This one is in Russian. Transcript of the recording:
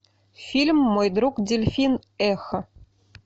фильм мой друг дельфин эхо